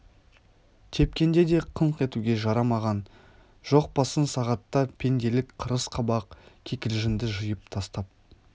тепкенде де қыңқ етуге жарамаған жоқ па сын сағатта пенделік қырыс қабақ кикілжіңді жиып тастап